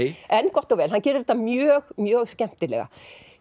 en gott og vel hann gerir þetta mjög mjög skemmtilega